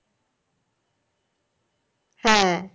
হ্যাঁ